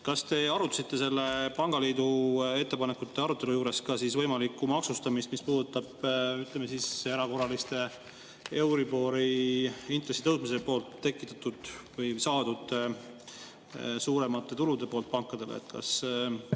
Kas te arutasite selle pangaliidu ettepanekute arutelu juures ka võimalikku maksustamist, mis puudutab, ütleme, erakorralise euribori intressi tõusmise tekitatud või saadud suuremate tulude poolt pankadele?